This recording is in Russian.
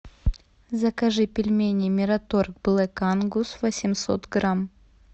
закажи пельмени мираторг блэк ангус восемьсот грамм